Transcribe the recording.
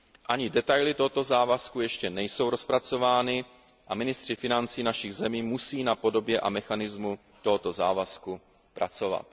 Ani detaily tohoto závazku ještě nejsou rozpracovány a ministři financí našich zemí musí na podobě a mechanismu tohoto závazku pracovat.